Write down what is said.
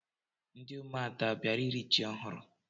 Ndị ụmụada a bịara iri ji ọhụrụ?